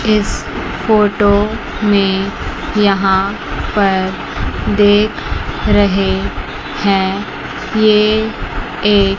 इस फोटो में यहां पर देख रहे हैं ये एक--